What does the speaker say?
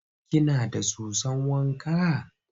Kina da soson wa ka?